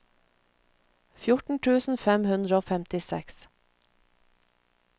fjorten tusen fem hundre og femtiseks